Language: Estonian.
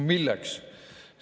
Milleks?